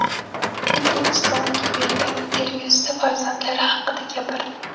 Putin Stounga bergan intervyusida farzandlari haqida gapirdi .